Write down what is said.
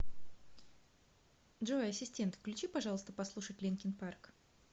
джой ассистент включи пожалуйста послушать линкин парк